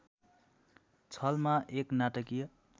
छलमा एक नाटकीय